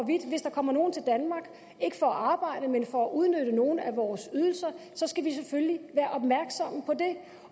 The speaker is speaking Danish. hvis der kommer nogen til danmark ikke for at arbejde men for at udnytte nogle af vores ydelser skal vi selvfølgelig være opmærksomme på det